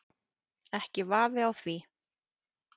Ekki vafi á því.